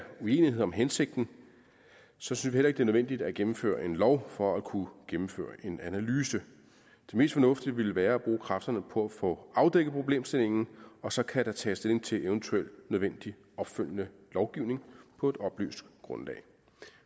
uenighed om hensigten synes vi heller ikke det er nødvendigt at gennemføre en lov for at kunne gennemføre en analyse det mest fornuftige vil være at bruge kræfterne på at få afdækket problemstillingen og så kan der tages stilling til eventuel nødvendig opfølgende lovgivning på et oplyst grundlag